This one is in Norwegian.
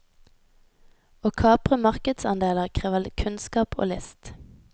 Å kapre markedsandeler krever kunnskap og list.